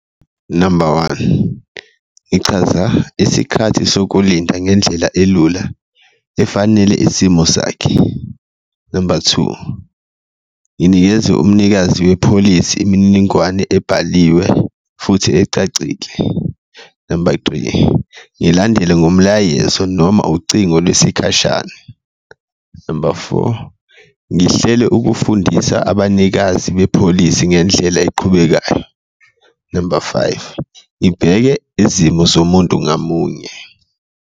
Number one, ngichaza isikhathi sokulinda ngendlela elula efanele isimo sakhe, number two, nginikeze umnikazi wepholisi imininingwane ebhaliwe futhi ecacile, number three, ngilandele ngomlayezo noma ucingo lwesikhashana, number four, ngihlele ukufundisa abanikazi bepholisi ngendlela eqhubekayo, number five, ngibheke izimo zomuntu ngamunye.